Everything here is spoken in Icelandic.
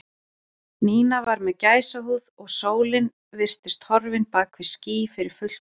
Nína var með gæsahúð og sólin virtist horfin bak við ský fyrir fullt og allt.